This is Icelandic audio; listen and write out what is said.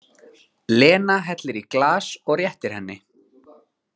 Lena hellir í glas og réttir henni.